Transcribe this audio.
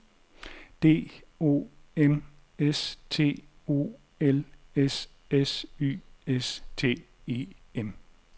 D O M S T O L S S Y S T E M